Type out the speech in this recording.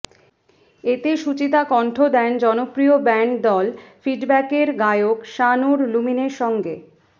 এতে সুচিতা কণ্ঠ দেন জনপ্রিয় ব্যান্ড দল ফিডব্যাকের গায়ক শাহনুর লুমিনের সঙ্গে